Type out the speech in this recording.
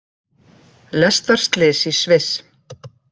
Lestarslys í Sviss